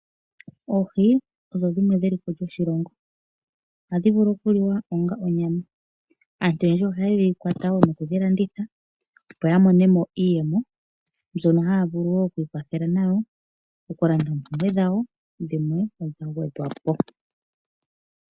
Oohi odho dhimwe dheliko lyoshilongo. Ohadhi vulu oku liwa ongaa onyama. Aantu oyendji ohayedhi kwata wo nokudhi landitha opo ya mone mo iiyemo mbyoka hayavulu wo okwiikwathela nayo nokulanda wo oompumbwe dhawo dhimwe dha gwedhwa po.